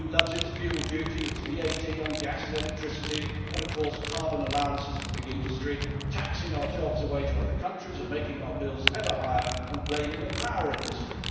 The EU loves its fuel duty, its VAT on gas and electricity and carbon allowances for big industry, taxing our jobs away to other countries, making our bills ever higher and blaming the power industry.